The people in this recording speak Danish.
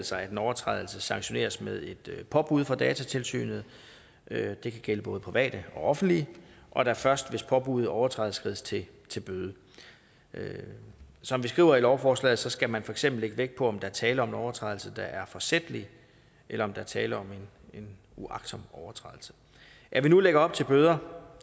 sig at en overtrædelse sanktioneres med et påbud fra datatilsynet det kan gælde både private og offentlige og at der først hvis påbuddet overtrædes skrides til til bøde som vi skriver i lovforslaget skal man for eksempel lægge vægt på om der er tale om en overtrædelse der er forsætlig eller om der er tale om en uagtsom overtrædelse at vi nu lægger op til bøder